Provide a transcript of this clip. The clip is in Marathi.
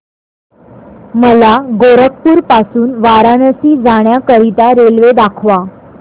मला गोरखपुर पासून वाराणसी जाण्या करीता रेल्वे दाखवा